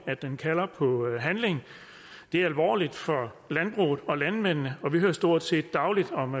at den kalder på handling det er alvorligt for landbruget og landmændene vi hører stort set dagligt om